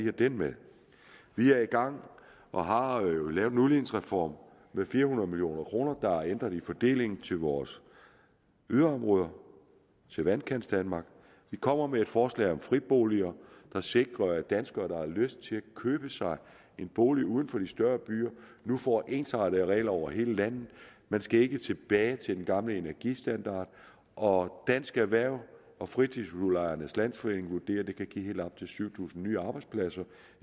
har det med vi er i gang og har lavet en udligningsreform med fire hundrede million kroner der er ændret i fordelingen til vores yderområder til vandkantsdanmark vi kommer med et forslag om friboliger der sikrer at danskere der har lyst til at købe sig en bolig uden for de større byer nu får ensartede regler over hele landet man skal ikke tilbage til den gamle energistandard og dansk erhverv og fritidshusudlejernes landsforeningen vurderer at det kan give helt op til syv tusind nye arbejdspladser